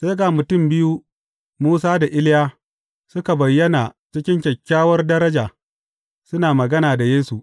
Sai ga mutum biyu, Musa da Iliya, suka bayyana cikin kyakkyawar daraja, suna magana da Yesu.